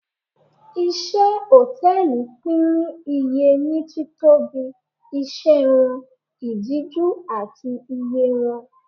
Iṣẹ́ Hòtẹ́lìì pín ní iye ní títóbi, iṣẹ́ wọn, ìdíjú, àti iye wọn.